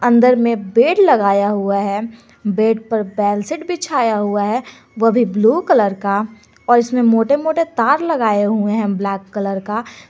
अंदर में बेड लगाया हुआ है बेड पर बेलशीट बिछाया हुआ है वो भी ब्लू कलर का और इसमें मोटे मोटे तार लगाए हुए हैं ब्लैक कलर का।